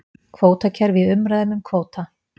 Kvótakerfi í umræðum um kvóta